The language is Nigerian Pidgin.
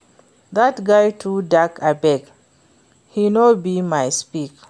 Dat guy too dark abeg, he no be my speck